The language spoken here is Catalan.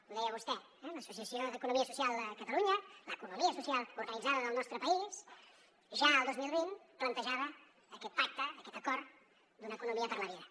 ho deia vostè eh l’associació d’economia social de catalunya l’economia social organitzada del nostre país ja el dos mil vint plantejava aquest pacte aquest acord d’una economia per la vida